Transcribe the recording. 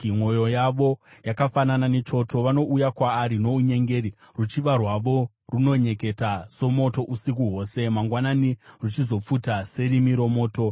Mwoyo yavo yakafanana nechoto; vanouya kwaari nounyengeri, ruchiva rwavo runonyeketa somoto usiku hwose; mangwanani ruchizopfuta serimi romoto.